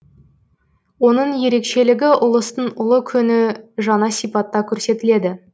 оның ерекшелігі ұлыстың ұлы күні жаңа сипатта көрсетіледі